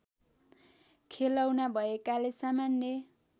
खेलौना भएकाले सामान्य